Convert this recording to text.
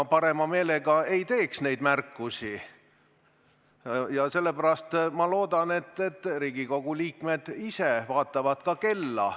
Ma parema meelega ei teeks neid märkusi ja sellepärast ma loodan, et Riigikogu liikmed ise vaatavad ka kella.